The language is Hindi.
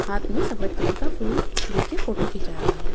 हाथ में सफेद कलर का फूल लेके फोटो खींचा रहा है।